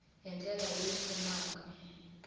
hi ndlela leyi pfunaka eku